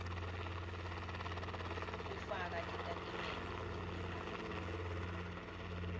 kufaka titatimende tetimali